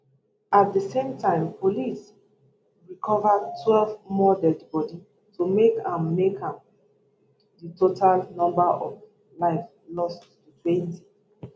at di same time police recover twelve more deadi bodi to make am make am di total number of lives lost to twenty